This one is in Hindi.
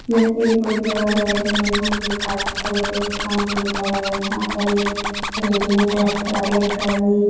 यह एक बहुत बड़ा बेल्डिंग है यहाँ पे काफी तरह के दुकान भी अब लगए है यहाँ पर एक रेडीमेड वस्त्रालय का ही --